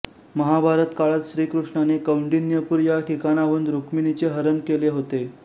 महाभारत काळात श्रीकृष्णाने कौंडिण्यपूर या ठिकाणाहून रुक्मिणीचे हरण केले होते